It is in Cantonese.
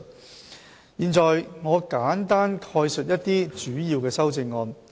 我現在簡單概述一些主要的修正案。